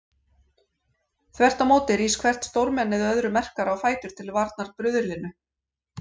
Þvert á móti rís hvert stórmennið öðru merkara á fætur til varnar bruðlinu.